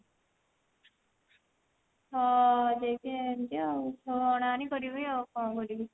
ହଁ ସେଇଥିପାଇଁ ଆଣିଛି ଆଉ ଆଣିପାରିବି ଆଉ କଣ କରିବି